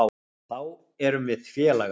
Þá erum við félagar.